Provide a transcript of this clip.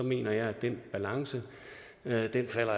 mener jeg at den balance